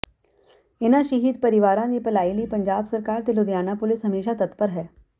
ਇਨ੍ਹਾਂ ਸ਼ਹੀਦ ਪਰਿਵਾਰਾਂ ਦੀ ਭਲਾਈ ਲਈ ਪੰਜਾਬ ਸਰਕਾਰ ਤੇ ਲੁਧਿਆਣਾ ਪੁਲਿਸ ਹਮੇਸ਼ਾ ਤਤਪਰ ਹੈ